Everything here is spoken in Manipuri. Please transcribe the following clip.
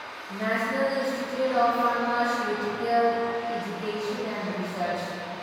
national Institute of Pharmaceutical Education and research